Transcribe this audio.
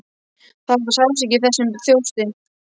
Það var sársauki í þessum þjósti.